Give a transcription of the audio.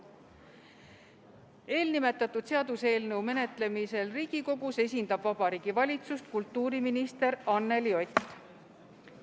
Eelnimetatud seaduseelnõu menetlemisel Riigikogus esindab Vabariigi Valitsust kultuuriminister Anneli Ott.